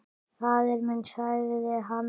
Faðir minn, sagði hann.